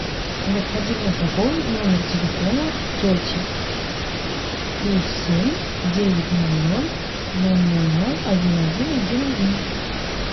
необходимо пополнить номер телефона тети плюс семь девять ноль ноль ноль ноль ноль один один один один